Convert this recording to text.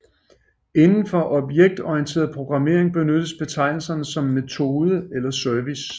Inden for objektorienteret programmering benyttes betegnelser som metode eller service